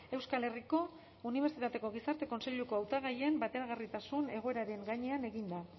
euskal herriko unibertsitateko gizarte kontseiluko hautagaien bateragarritasun egoeraren gainean eginda